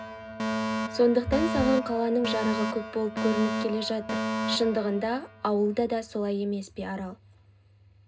сондықтан саған қаланың жарығы көп болып көрініп келе жатыр шындығында ауылда да солай емес пе арал